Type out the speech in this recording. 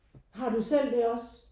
Har du selv det også?